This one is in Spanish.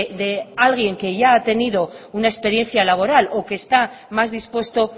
que alguien que ya ha tenido una experiencia laboral o que está más dispuesto